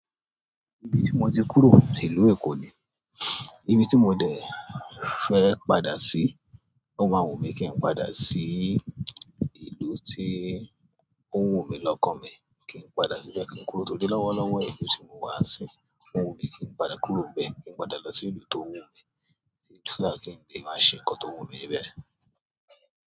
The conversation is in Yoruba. Ibí tí mo ti kúrò, ìlú Èkó ni. Ibi tí mo dẹ̀ fẹ́ padà sí, ó máa wù mí kí n padà sí ìlú tí ó ń wù mí lọ́kàn mi. Kí n padà síbẹ̀ kí n kúrò tó dé lọ́wọ́lọ́wọ́ èyí tí mo wá ń sìn. Ó wù mí kí n padà kúrò bẹ́ẹ̀ kí n padà lọ sí ìlú tó wù mí, sílẹ̀ kí n lè máa ṣe ǹkan tó wù mí ńi bẹ̀.